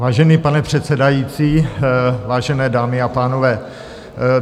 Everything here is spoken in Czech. Vážený pane předsedající, vážené dámy a pánové.